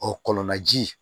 Ɔ kɔlɔn naji